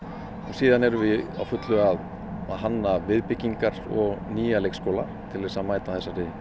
síðan erum við á fullu að hanna viðbyggingar og núja leikskóla til þess að mæta